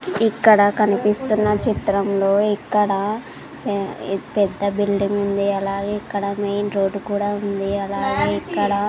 ఇక్కడ కనిపిస్తున్న చిత్రంలో ఇక్కడ పె పెద్ద బిల్డింగ్ ఉంది అలాగే ఇక్కడ మెయిన్ రోడ్డు కూడా ఉంది అలాగే ఇక్కడ --